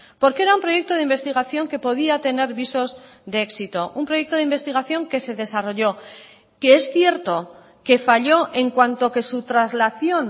porque era un proyecto de investigación que podía tener visos de éxito un proyecto de investigación que se desarrolló que es cierto que falló en cuanto que su traslación